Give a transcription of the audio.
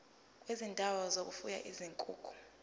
kwezindawo zokufuya izinkukhu